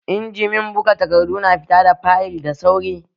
Injimin buga takardu na fita da fayil da sauri